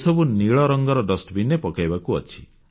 ଏସବୁ ନୀଳରଙ୍ଗର ଡଷ୍ଟବିନ୍ ରେ ପକାଇବାକୁ ଅଛି